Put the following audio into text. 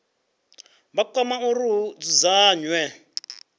vha kwama uri hu dzudzanywe